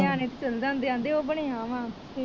ਨਿਆਣੇ ਤੇ ਚਲ ਜਾਂਦੇ ਆਂਦੇ ਉਹ ਬਣਿਆ ਵਾ।